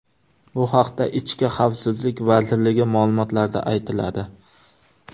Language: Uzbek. Bu haqda ichki xavfsizlik vazirligi ma’lumotlarida aytiladi.